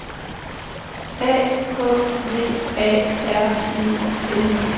A K V A R E L